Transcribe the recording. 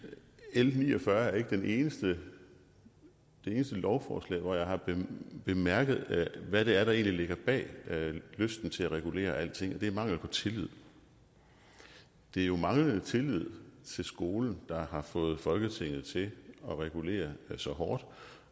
l ni og fyrre er ikke det eneste lovforslag hvor jeg har bemærket hvad det er der egentlig ligger bag lysten til at regulere alting og det er mangel på tillid det er jo manglende tillid til skolen der har fået folketinget til at regulere så hårdt